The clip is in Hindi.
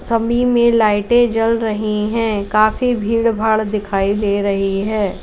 समी में लाइटे जल रही हैं काफी भीड़ भाड़ दिखाई दे रही है।